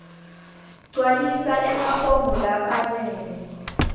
gcwalisa emafomu lafanele